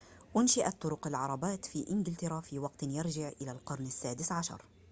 أُنشئت طرق العربات في إنجلترا في وقت يرجع إلى القرن السادس عشر